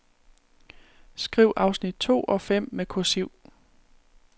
Skriv afsnit to og fem med kursiv.